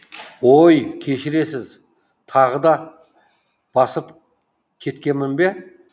оой кешіресіз тағы да басып кеткенмін бе